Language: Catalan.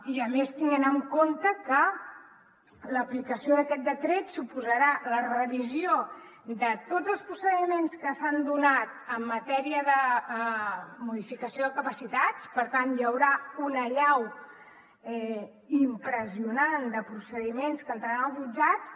i a més tenint en compte que l’aplicació d’aquest decret suposarà la revisió de tots els procediments que s’han donat en matèria de modificació de capacitats per tant hi haurà una allau impressionant de procediments que entraran als jutjats